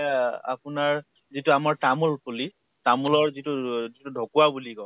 য়া আপোনাৰ, যিটো আমাৰ তামোল পুলি । তামোলৰ যিটো ৰ ৰু ঢকোৱা বুলি কওঁ